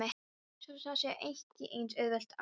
Svo það sé ekki eins auðvelt að.